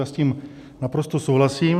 Já s tím naprosto souhlasím.